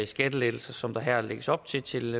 skattelettelser som der her lægges op til til